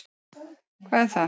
Hvar er hvað?